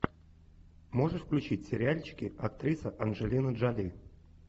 можешь включить сериальчики актриса анджелина джоли